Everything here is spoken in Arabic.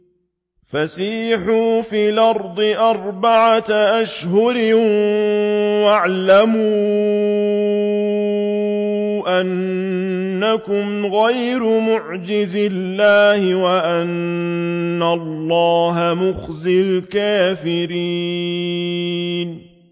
فَسِيحُوا فِي الْأَرْضِ أَرْبَعَةَ أَشْهُرٍ وَاعْلَمُوا أَنَّكُمْ غَيْرُ مُعْجِزِي اللَّهِ ۙ وَأَنَّ اللَّهَ مُخْزِي الْكَافِرِينَ